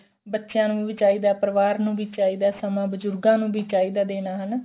ਬੱਚਿਆਂ ਨੂੰ ਵੀ ਚਾਹੀਦਾ ਪਰਿਵਾਰ ਨੂੰ ਵੀ ਚਾਹੀਦਾ ਸਮਾਂ ਬਜੁਰਗਾਂ ਨੂੰ ਵੀ ਚਾਹੀਦਾ ਦੇਣਾ ਸਮਾਂ ਹਨਾ